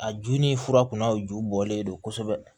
A ju ni fura kunnaw ju bɔlen don kosɛbɛ